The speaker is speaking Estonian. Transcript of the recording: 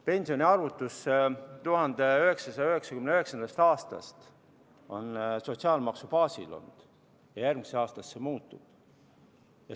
Pensioniarvutus on olnud 1999. aastast sotsiaalmaksu baasil ja järgmisest aastast see muutub.